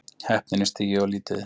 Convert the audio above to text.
Heppnir en stigið of lítið